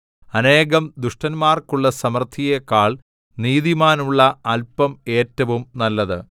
അനേകം ദുഷ്ടന്മാർക്കുള്ള സമൃദ്ധിയെക്കാൾ നീതിമാനുള്ള അല്പം ഏറ്റവും നല്ലത്